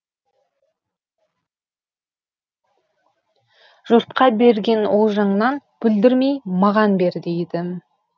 жұртқа берген олжаңнанбүлдірмей маған бер дейді